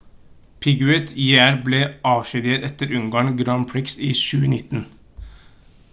piquet jr ble avskjediget etter ungarn grand prix i 2009